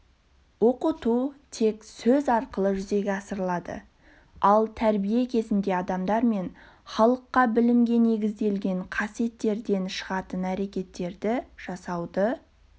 оқыту тек сөз арқылы жүзеге асырылады ал тәрбие кезінде адамдар мен халыққа білімге негізделген қасиеттерден шығатын әрекеттерді жасауды